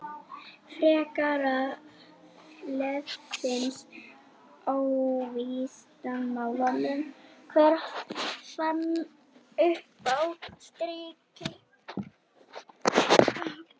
Frekara lesefni á Vísindavefnum: Hver fann uppá sykri?